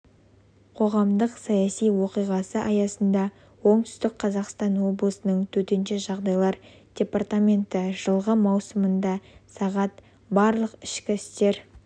қоғамдық-саяси оқиғасы аясында оңтүстік қазақстан облысының төтенше жағдайлар департаменті жылғы маусымында сағат барлық ішкі істер